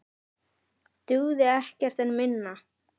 Dugði ekkert minna.